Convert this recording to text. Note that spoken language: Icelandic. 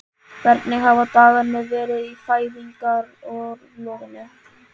Hvernig hafa dagarnir verið í fæðingarorlofinu?